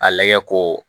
A lagɛ ko